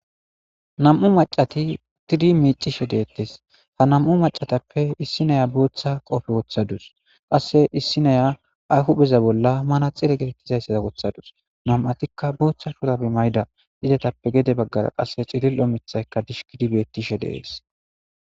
nam'u macati tiri miicishe deettes ha nam'u macatappe issi naya booththa qofe woththadus qasse issi naya ay hupheza bolla mana xire geettizayssaza wothadus nam'atikka booththa shurabe mayda idetappe gede baggara qasse cilil'o mithayka dishki gidi bettishe de'ees